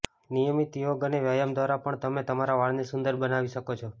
નિયમિત યોગ અને વ્યાયામ દ્વારા પણ તમે તમારા વાળને સુંદર બનાવી શકો છો